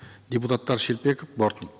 депутаттар шелпеков бортник